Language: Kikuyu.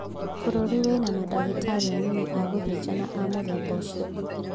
" Bũrũri wĩna madagĩtarĩ anini a gũthĩnjana a mũthemba ũcio.